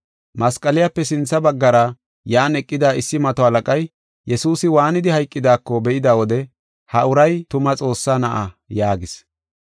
Masqaliyape sintha baggara yan eqida issi mato halaqay, Yesuusi waanidi hayqidaako be7ida wode, “Ha uray tuma Xoossa Na7a” yaagis.